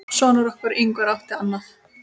Sonur okkar, Ingvar, átti annað.